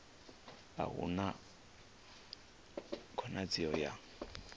a hu na khonadzeo ya